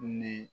Ni